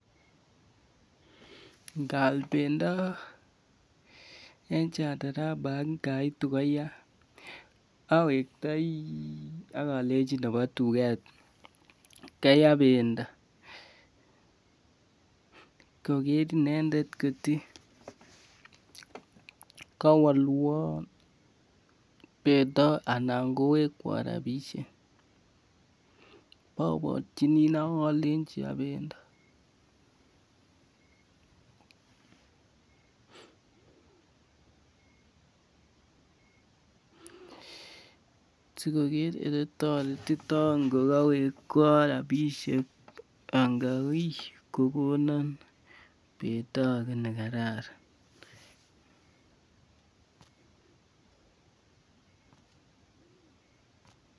Ngaal pendo en Chandarana ngaitu koya awektai akalenchi nebo tuget kaya pendo . Koker inendet koti kawalwaan pendo anan kowekwan rabisiek. Aborchini inei akalenchi ya bendo sikoker ele tareton anan kokonan pendo age nekararan